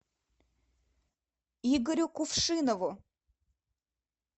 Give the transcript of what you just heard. игорю кувшинову